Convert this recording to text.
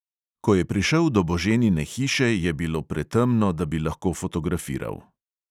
Ko je prišel do boženine hiše, je bilo pretemno, da bi lahko fotografiral.